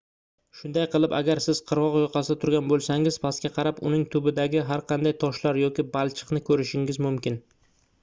shunday qilib agar siz qirgʻoq yoqasida turgan boʻlsangiz pastga qarab uning tubidagi har qanday toshlar yoki balchiqni koʻrishingiz mumkin